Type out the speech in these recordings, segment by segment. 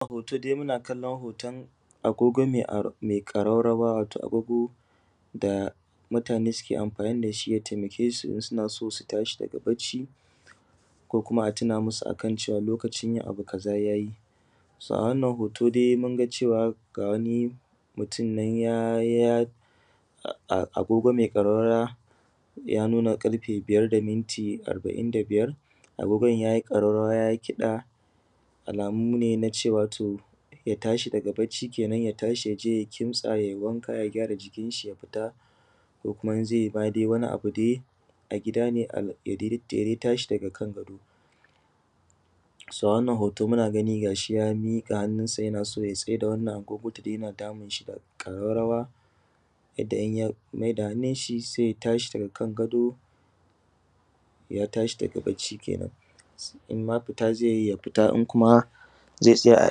Wannan hoton agogo ne mai ƙararrawa wato agogon da mutane suke amfani da shi ya taimake su idan suna so su tashi daga bacci ko kuma a tuna musu cewa lokacin yin abu kaza ya yi. So a wannan hoto dai mun ga cewa ga wani mutum ya yi agogo mai ƙararrawa ya nuna ƙarfe biyar da minti arba’in da biyar. Agogon ya yi ƙararrawa ya yi kiɗa alamu ne na nuna cewa ya tashi daga bacci kenan ya tashi ya je ya kintsa ya gyara jikinsa ya fita, ko kuma in zai yi wani abu ne ya tashi ya kintsa. A wannan hoto dai muna ganin ga shi nan ya miƙa hannunsa ya naso ya tsaida agogon saboda yana damun shi da ƙararrawa. Idan ya dame shi sai ya tashi daga kan gado ya tashi bacci kenan. In ma fita zai yi ya fita, in ma zai tsaya a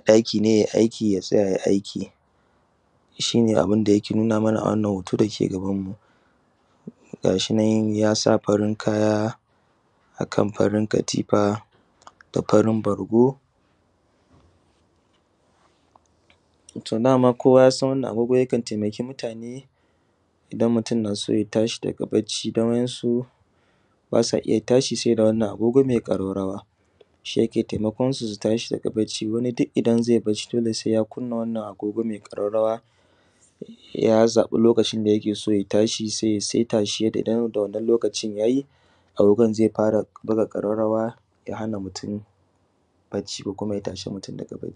ɗaki ne ya yi aiki ya yi aiki, shine abinda yake nuna mana a wannan hoto dake gabanmu. Ga shi nan ya sa farin riga akan farin katifa da farin bargo. To dama kowa ya san wannan agogo yakan taimaki mutane idan mutum na so ya tashi daga bacci dan wasu ’yan su ba sa iya tashi sai da wannan agogo mai ƙararrawa shi yake taimakon su tashi daga bacci. Wani duk idan zai bacci sai ya kunna wannan agogo mai ƙararrawa ya zaɓi lokacin da yake so ya tashi sai ya saita shi da wannan lokacin. Idan lokacin ya yi, agogon zai fara buga ƙararrawa ya hana mutum bacci ko kuma ya tashi mutum daga bacci.